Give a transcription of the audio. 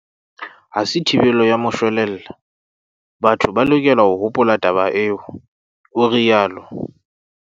"Ha se thibelo ya moshwelella, batho ba lokela ho hopola taba eo," o rialo.